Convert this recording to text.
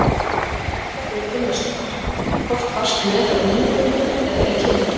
Erla Björg Gunnarsdóttir: Hvort varstu með hana innbundna eða í kilju?